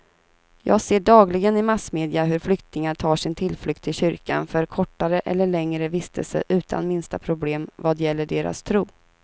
Jag ser dagligen i massmedia hur flyktingar tar sin tillflykt till kyrkan för kortare eller längre vistelse utan minsta problem vad gäller deras tro.